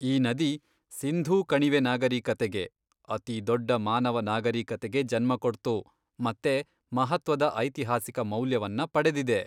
ಈ ನದಿ ಸಿಂಧೂ ಕಣಿವೆ ನಾಗರೀಕತೆಗೆ, ಅತಿದೊಡ್ಡ ಮಾನವ ನಾಗರೀಕತೆಗೆ ಜನ್ಮ ಕೊಟ್ತು ಮತ್ತೆ ಮಹತ್ವದ ಐತಿಹಾಸಿಕ ಮೌಲ್ಯವನ್ನ ಪಡೆದಿದೆ.